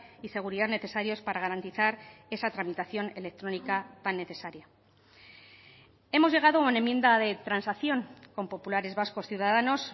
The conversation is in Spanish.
y seguridad necesarios para garantizar esa tramitación electrónica tan necesaria hemos llegado a una enmienda de transacción con populares vascos ciudadanos